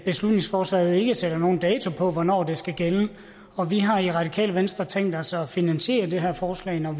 beslutningsforslaget ikke sætter nogen dato på hvornår det skal gælde og vi har i radikale venstre tænkt os at finansiere det her forslag når